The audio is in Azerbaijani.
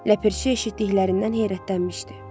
Ləpəçi eşitdiklərindən heyrətlənmişdi.